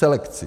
Selekci.